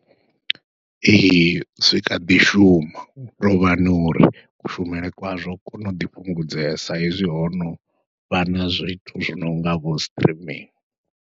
Ee zwi kha ḓi shuma hu tovhani uri kushumele kwazwo kono ḓi fhungudzea sa hezwi ho novha na zwithu zwi nonga vho streaming.